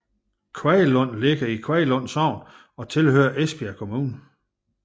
Kvaglund ligger i Kvaglund Sogn og hører til Esbjerg Kommune